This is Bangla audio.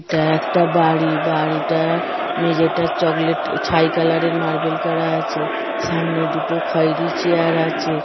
এটা একটা বাড়ি বাড়িটা মেঝেটা চকলেট ছাই কালার -এর মার্বেল করা আছে সামনে দুটো খয়েরি চেয়ার আছে।